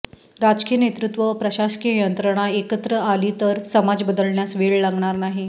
राजकीय नेतृत्व व प्रशासकीय यंत्रणा एकत्र आली तर समाज बदलण्यास वेळ लागणार नाही